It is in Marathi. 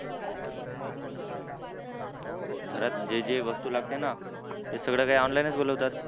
घरात जे जे वस्तू लागते ना ते सगळं काही online च बोलवतात.